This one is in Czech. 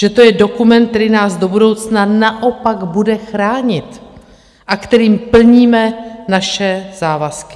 Že to je dokument, který nás do budoucna naopak bude chránit a kterým plníme naše závazky.